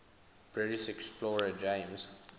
british explorer james